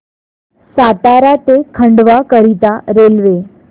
सातारा ते खंडवा करीता रेल्वे